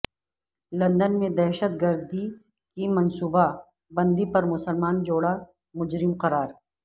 London میں دہشت گردی کی منصوبہ بندی پر مسلمان جوڑا مجرم قرار